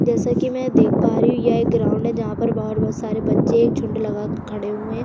जैसी की मै देख पा रही हूँ यह एक ग्राउन्ड जहां पर बाहर बहुत सारे बच्चे बाहर झुंड लगा के खड़े हुए हैं।